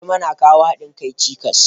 Gulma na kawowa hadin kai cikas.